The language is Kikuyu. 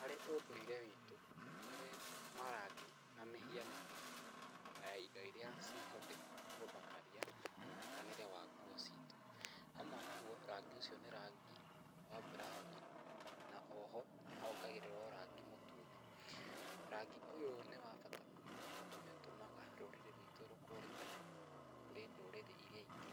Harĩ ũndũire witũ nĩ kũrĩ marangi na mĩhianano ya indo iria cihũthĩkaga gũthakaria mwonekanĩre wa nguo citũ, hamwe naguo, rangi ũcio nĩ rangi wa mburaũni, na oho nĩ hongagĩrĩrwo rangi mũtune. Rangi ũyũ nĩ wa bata mũno, tondũ nĩ ũtũmaga rũrĩrĩ rwitũ rũkũrĩkane kũrĩ ndũrĩrĩ iria ingĩ,